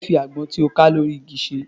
Kí ni o fẹ́ fi àgbọn tí ó ká lórí igi ṣe?